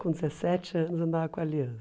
Com dezessete anos, andava com alianças.